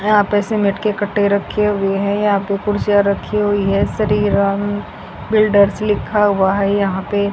यहां पे सीमेंट के कट्टे रखे हुए है यहां पे कुर्सियां रखी हुई है श्री राम बिल्डर्स लिखा हुआ है यहां पे।